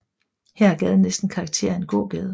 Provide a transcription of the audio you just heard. Her har gaden næsten karakter af en gågade